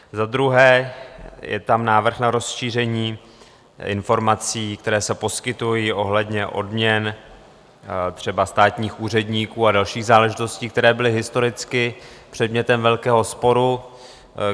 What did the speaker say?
Za druhé je tam návrh na rozšíření informací, které se poskytují ohledně odměn třeba státních úředníků a dalších záležitostí, které byly historicky předmětem velkého sporu.